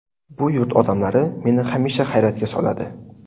Bu yurt odamlari meni hamisha hayratga soladi.